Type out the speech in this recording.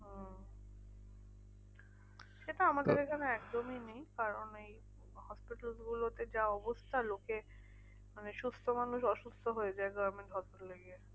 সেটাতো আমাদের এখানে একদমই নেই। কারণ এই hospitals গুলোতে যা অবস্থা লোকের মানে সুস্থ মানুষ অসুস্থ হয়ে যায় government hospital এ গিয়ে।